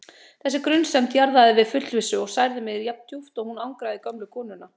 Þessi grunsemd jaðraði við fullvissu og særði mig jafndjúpt og hún angraði gömlu konuna.